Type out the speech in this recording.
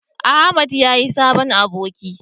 eh Ahmad ya yi sabon aboki